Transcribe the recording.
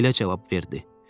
Belə cavab verdi.